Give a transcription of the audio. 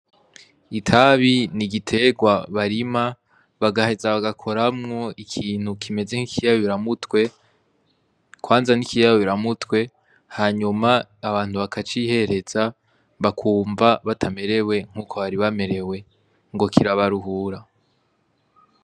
Itabi ni igiterwa barima bagaheza bagakoramwo ikintu kimeze nk'ikiyabo biramutwe kwanza n'ikiyabo biramutwe hanyuma abantu bakacihereza bakumva batamerewe nk'uko bari bamerewe ngo kirabaruhura.